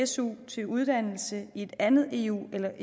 su til uddannelse i et andet eu eller